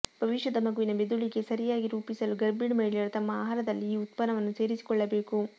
ಭವಿಷ್ಯದ ಮಗುವಿನ ಮೆದುಳಿಗೆ ಸರಿಯಾಗಿ ರೂಪಿಸಲು ಗರ್ಭಿಣಿ ಮಹಿಳೆಯರು ತಮ್ಮ ಆಹಾರದಲ್ಲಿ ಈ ಉತ್ಪನ್ನವನ್ನು ಸೇರಿಸಿಕೊಳ್ಳಬೇಕು